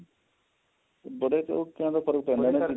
ਬੜਾ ਫਰਕ ਪੈਂਦਾ ਇਹਨਾਂ ਚੀਜਾਂ ਦਾ